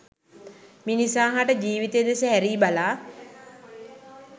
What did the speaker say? මිනිසා හට ජීවිතය දෙස හැරී බලා